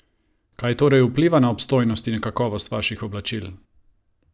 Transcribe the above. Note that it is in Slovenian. Kaj torej vpliva na obstojnost in kakovost vaših oblačil?